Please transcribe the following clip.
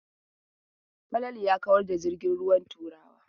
Falalu ya kawar da jirgin ruwan Turawa.